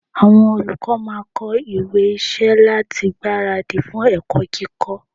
Àwọn olùkọ́ máà ń kọ ìwé iṣẹ́ láti gbára dì fún ẹ̀kọ́ kíkọ́.